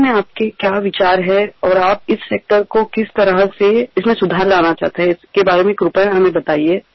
याबाबत आपले विचार काय आहेत आणि या क्षेत्रात कोणत्याप्रकारे आपण सुधारणा आणू इच्छिता याबाबत कृपा करुन सांगा